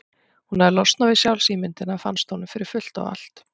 Hann hafði losnað við sjálfsímyndina, fannst honum, fyrir fullt og allt.